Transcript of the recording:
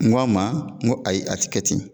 N ko a ma n ko ayi a tɛ kɛ ten